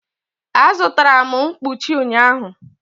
Azụtara m mkpuchi ụnyahụ.